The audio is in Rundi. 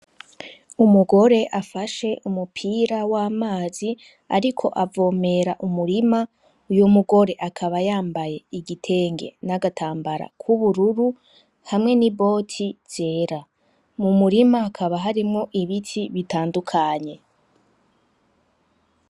Umugore afashe umupira w'amazi ariko avomera umurima uyo mugore akaba yambaye igitenge n'agatambara k'ubururu hamwe n'iboti zera, mu murima hakaba harimwo ibiti bitandukanye.